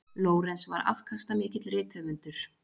Lorenz var afkastamikill rithöfundur.